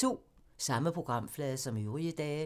Samme programflade som øvrige dage